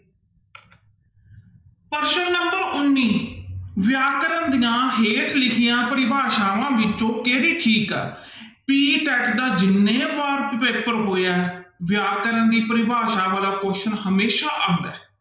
ਪ੍ਰਸ਼ਨ number ਉੱਨੀ ਵਿਆਕਰਨ ਦੀਆਂ ਹੇਠ ਲਿਖੀਆਂ ਪਰਿਭਾਸ਼ਾਵਾਂ ਵਿੱਚੋਂ ਕਿਹੜੀ ਠੀਕ ਹੈ PTET ਦਾ ਜਿੰਨੇ ਵਾਰ ਪੇਪਰ ਹੋਇਆ ਹੈ ਵਿਆਕਰਨ ਦੀ ਪਰਿਭਾਸ਼ਾ ਵਾਲਾ question ਹਮੇਸ਼ਾ ਆਉਂਦਾ ਹੈ।